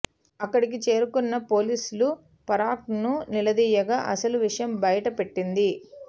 అక్కడికి చేరుకున్న పోలీసులు పార్కర్ను నిలదీయగా అసలు విషయం బయట పెట్టింది